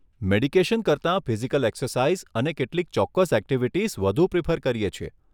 Medication કરતાં physical exercise અને કેટલીક ચોક્કસ ઍક્ટિવિટીઝ વધુ પ્રિફર કરીએ છીએ.